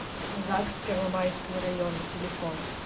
загс первомайского района телефон